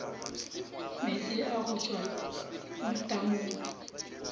meetse a go tšwa matamong